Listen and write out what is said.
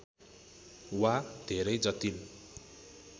वा धेरै जटिल